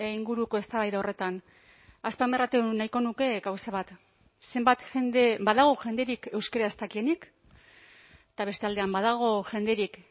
inguruko eztabaida horretan azpimarratu nahiko nuke gauza bat zenbat jende badago jenderik euskara ez dakienik eta beste aldean badago jenderik